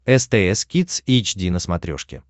стс кидс эйч ди на смотрешке